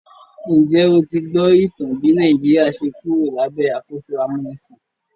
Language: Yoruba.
Njẹ́ o ti gbọ́ ìtàn bí Nàìjíríà ṣe Kúrò lábẹ́ àkóso amúnisìn?